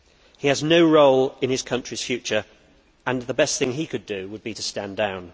He has no role in his country's future and the best thing he could do would be to stand down.